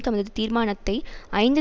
தமது தீர்மானத்தை ஐந்து